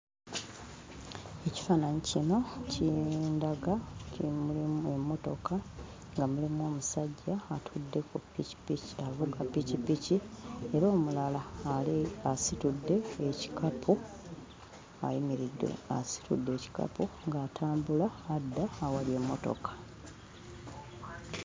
Ekifaananyi kino kindaga ki mulimu emmotoka nga mulimu omusajja atudde ku ppikippiki avuga ppikippiki era omulala ali asitudde ekikapu ayimiridde asitudde ekikapu ng'atambula adda awali emmotoka.